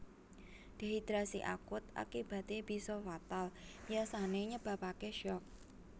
Dehidrasi akut akibaté bisa fatal biasané nyebabaké syok